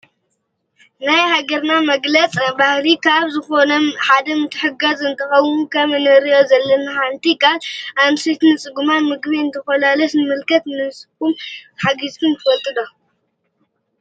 ናይ ሃገርና መግለፅ ባህሊ ካብ ዝኮነ ሓደ ምትሕግጋዝ እንትክውን ከም እሪኦ ዘለና ድማ ሓንቲ ጋል አንስተይቲ ንፁጉማት ምግቢ እናኮለሰተን ንምልከት። ንስኩም ከ ሓጊዝኩም ትፈልጡ ዶ?